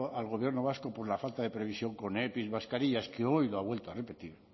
al gobierno vasco por la falta de previsión con epi mascarillas que hoy lo ha vuelto a repetir